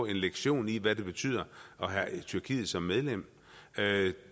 en lektion i hvad det betyder at have tyrkiet som medlem